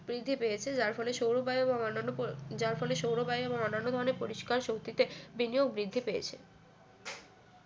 বৃদ্ধি পেয়েছে যার ফলে সৌর বায়ু এবং অন্যান্য যার ফলে সৌর বায়ু এবং অন্যান্য ধরণের পরিষ্কার শক্তিতে বিনিয়োগ বৃদ্ধি পেয়েছে